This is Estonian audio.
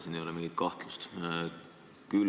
Siin ei ole mingit kahtlust.